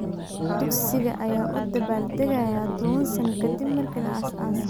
Dugsiga ayaa u dabaaldegaya toban sano ka dib markii la aasaasay.